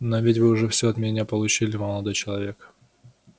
но ведь вы уже все от меня получили молодой человек